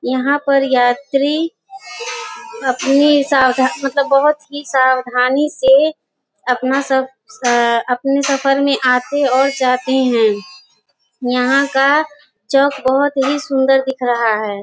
यहां पर यात्री अपनी सावधान मतलब बहुत ही सावधानी से अपना सब अपने सफर में आते और जाते हैं यहां का चौक बहुत ही सुंदर दिख रहा है।